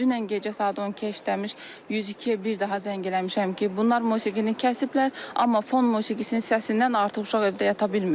Dünən gecə saat 12 işləmiş 102-yə bir daha zəng eləmişəm ki, bunlar musiqini kəsiblər, amma fon musiqisinin səsindən artıq uşaq evdə yata bilmir.